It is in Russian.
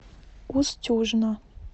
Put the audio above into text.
устюжна